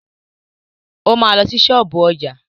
O ma lọ sí ṣọ́ọ̀bú ọjà.